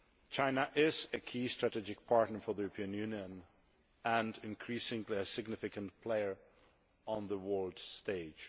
China is a key strategic partner for the European Union and increasingly a significant player on the world stage.